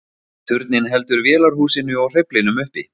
Turninn heldur vélarhúsinu og hreyflinum uppi.